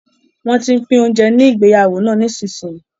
Wọ́n tín pín oúnjẹ ní ìgbéyàwó náà nísinsìnyí